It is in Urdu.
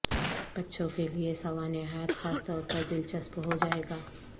بچوں کے لئے سوانح حیات خاص طور پر دلچسپ ہو جائے گا